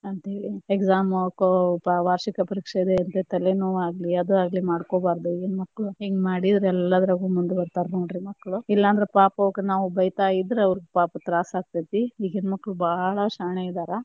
ಅಂತೇಳಿ exam ವಾರ್ಷಿಕ ಪರೀಕ್ಷೆ ತಲೆ ನೋವ ಆಗ್ಲಿ ಅದ ಆಗ್ಲಿ ಮಾಡ್ಕೊಬಾರದ, ಈಗಿನ ಮಕ್ಳು ಹಿಂಗ ಮಾಡಿದ್ರ ಎಲ್ಲಾದ್ರಗೂ ಮುಂದ ಬರ್ತಾರಾ ನೋಡ್ರಿ ಮಕ್ಕಳು, ಇಲ್ಲಂದ್ರ ಪಾಪ ಅವಕ್ಕ ನಾವು ಬೈತಾ ಇದ್ರ ಅವ್ರಿಗೆ ಪಾಪ ತ್ರಾಸ ಆಕ್ಕೆತಿ ಈಗಿನ ಮಕ್ಳು ಬಾಳ ಶಾಣೆ ಇದಾರ.